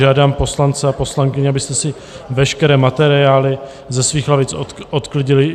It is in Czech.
Žádám poslance a poslankyně, abyste si veškeré materiály ze svých lavic odklidili.